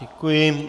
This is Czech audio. Děkuji.